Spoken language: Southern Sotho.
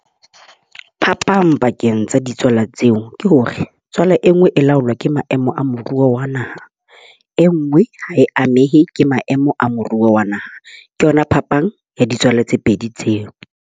Phapang pakeng tsa ditswala tseo ke hore tswala e nngwe e laolwa ke maemo a moruo wa naha. E nngwe ha e amehe ke maemo a moruo wa naha. Ke yona phapang ya ditswala tse pedi tseo.